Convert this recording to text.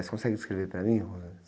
Você consegue descrever para mim?